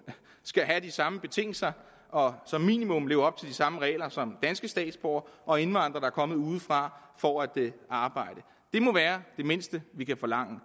skal have de samme betingelser og som minimum skal leve op til de samme regler som danske statsborgere og indvandrere der er kommet udefra for at arbejde det må være det mindste vi kan forlange